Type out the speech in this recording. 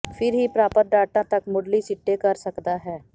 ਫਿਰ ਹੀ ਪ੍ਰਾਪਤ ਡਾਟਾ ਤੱਕ ਮੁੱਢਲੀ ਸਿੱਟੇ ਕਰ ਸਕਦਾ ਹੈ